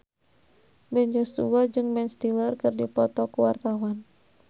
Ben Joshua jeung Ben Stiller keur dipoto ku wartawan